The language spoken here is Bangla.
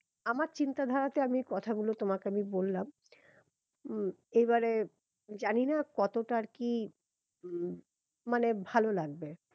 আমার চিন্তা ধারাতে আমি কথাগুলো তোমাকে আমি বললাম উম এবারে জানি না কতটা আর কিউম মানে ভালো লাগবে